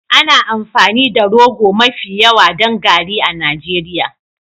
Ana amfani da rogo mafi yawa don garri a Najeriya.